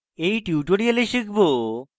in tutorial শিখব: